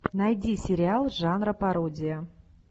найди сериал жанра пародия